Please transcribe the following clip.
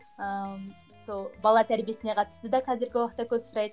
ыыы сол бала тәрбиесіне қатысты да қазіргі уақытта көп сұрайды